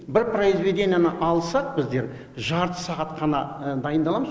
бір произведениені алсақ біздер жарты сағат қана дайындаламыз